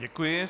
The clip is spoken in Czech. Děkuji.